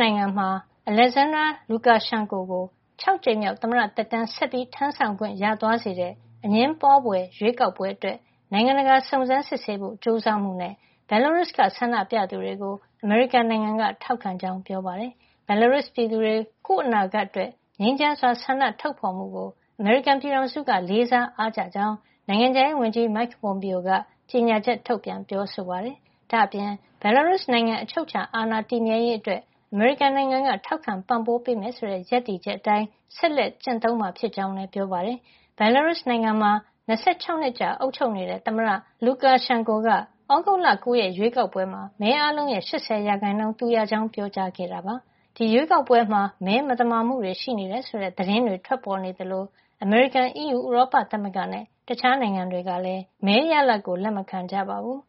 နိုင်ငံမှာ သမ္မတ Alexander Lukashenko ကို ၆ ကြိမ်မြောက် သမ္မတ သက်တမ်း ဆက်လက် ထမ်းဆောင်ခွင့် ရသွားစေတဲ့ အငြင်းပွားဖွယ် ရွေးကောက်ပွဲအတွက် နိုင်ငံတကာက စုံစမ်းစစ်ဆေးဖို့ကြိုးစားမှု နဲ့ Belarus က အမေရိကန်နိုင်ငံက ထောက်ခံကြောင်း ပြောပါတယ်။ Belarus ပြည်သူတွေ ကိုယ့်အနာဂတ်အတွက့် ငြိမ်းချမ်းစွာ ဆန္ဒထုတ်ဖေါ်မှုကို အမေရိကန်ပြည်ထောင်စု လေးစား အားကျကြောင်း နိုင်ငံခြားရေးဝန်ကြီး Mike Pompeo က ကြေညာချက် ထုတ်ပြန်ပြောဆိုပါတယ်။ ဒါ့အပြင် Belarus နိုင်ငံ အချုပ်အခြာအာဏာတည်မြဲရေးအတွက် အမေရိကန်က ထောက်ခံပံ့ပိုးပေးမယ် ဆိုတဲ့ ရပ်တည်ချက်အတိုင်း ဆက်လက်ကျင့်သုံးမှာ ဖြစ်ကြောင်း လည်း ပြောပါတယ်။ Belarus နိုင်ငံမှာ ၂၆ နှစ်ကြာ အုပ်ချုပ်နေတဲ့ သမ္မတ Lukashenko က သြဂုတ်လ ၉ ရက်ရွေးကောက်ပွဲမှာ မဲအားလုံးရဲ့ ၈၀ % သူရကြောင်း ပြောကြားခဲ့ပါတယ်။ အတိုက်အခံ Svetlana Tikhanovskaya ကတော့ ၁၀ % ပဲ ရခဲ့တာပါ။ ဒီရွေးကောက်ပွဲမှာ မဲမသမာမှု တွေရှိတယ် ဆိုတဲ့ သတင်းတွေ ထွက်ပေါ်နေသလို အမေရိကန်၊ အီးယူ ဥရောပသမဂ္ဂနဲ့ တခြားနိုင်ငံတွေကလည်း မဲရလဒ်ကို လက်မခံကြပါဘူး